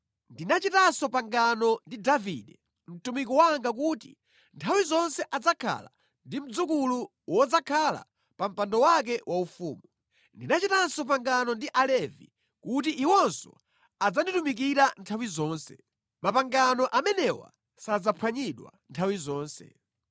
Ndinachitanso pangano ndi Davide, mtumiki wanga kuti nthawi zonse adzakhala ndi mdzukulu wodzakhala pa mpando wake waufumu. Ndinachitanso pangano ndi Alevi kuti iwonso adzanditumikira nthawi zonse. Mapangano amenewa sadzaphwanyidwa nthawi zonse.